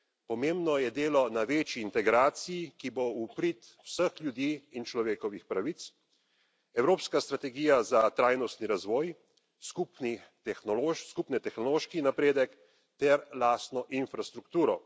Pomembno je delo na večji integraciji, ki bo v prid vseh ljudi in človekovih pravic, evropska strategija za trajnostni razvoj, skupni tehnološki napredek ter lastno infrastrukturo.